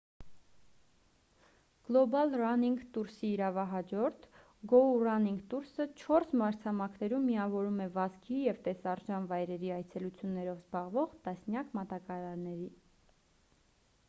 գլոբալ ռանինգ տուրսի իրավահաջորդ գոու ռանինգ տուրսը չորս մայրցամաքներում միավորում է վազքի ու տեսարժան վայրերի այցելություններով զբաղվող տասնյակ մատակարարների